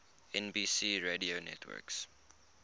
nbc radio network